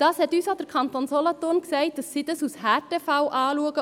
Der Kanton Solothurn hat uns gesagt, dass sie dies als Härtefall anschauen.